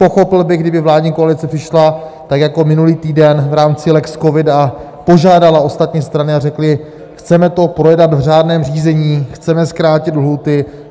Pochopil bych, kdyby vládní koalice přišla tak jako minulý týden v rámci lex covid a požádala ostatní strany a řekla: chceme to projednat v řádném řízení, chceme zkrátit lhůty.